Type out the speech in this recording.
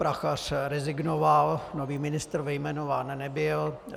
Prachař rezignoval, nový ministr jmenován nebyl.